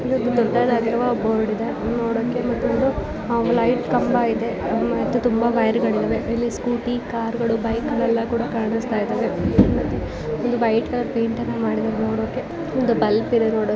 ಇಲ್ಲಿ ದೊಡ್ಡದಾಗಿರುವ ಬೋರ್ಡ್ ಇದೆ ನೋಡೋಕೆ ಮತ್ತೊಂದು ಲೈಟ್ ಕಂಬ ಇದೆ ಮತ್ತೆ ತುಂಬ ವೈರಿಗಳು ಇದಾವೆ ಇಲ್ಲಿ ಸ್ಕೂಟಿ ಕಾರ್ಗಳು ಬೈಕ್ ಗಳು ಇವೆಲ್ಲ ಕೂಡ ಕಾಣಿಸ್ತಾಯಿದ್ದಾವೆ ಹಾಗೆ ಇಲ್ಲಿ ವೈಟ್ ಕಲರ್ ಪೈಂಟ್ ಮಾಡಿದ್ಧಾರೆ ನೋಡೋಕೆ ಒಂದು ಬಲ್ಬ್ ಇದೆ ನೋಡೋಕೆ.